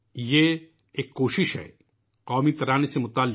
یہ ایک کوشش ہے قومی ترانے سے جڑی ہوئی